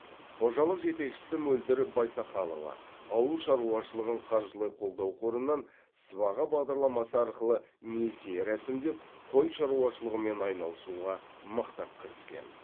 қожалық жетекшісі мөлдір байсақалова ауыл шаруашылығын қаржылай қолдау қорынан сыбаға бағдарламасы арқылы несие рәсімдеп қой шаруашылығымен айналысуға мықтап кіріскен